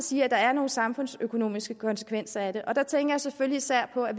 sige at der er nogle samfundsøkonomiske konsekvenser af det her tænker jeg selvfølgelig især på at